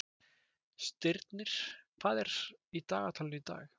Stirnir, hvað er í dagatalinu í dag?